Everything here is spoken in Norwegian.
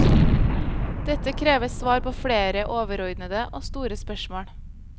Dette krever svar på flere overordnede og store spørsmål.